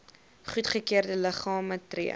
goedgekeurde liggame tree